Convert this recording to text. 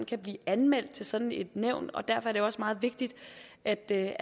kan blive anmeldt til sådan et nævn og derfor er det også meget vigtigt at det